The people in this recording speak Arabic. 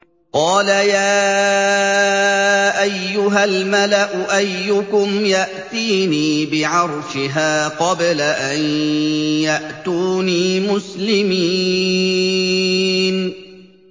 قَالَ يَا أَيُّهَا الْمَلَأُ أَيُّكُمْ يَأْتِينِي بِعَرْشِهَا قَبْلَ أَن يَأْتُونِي مُسْلِمِينَ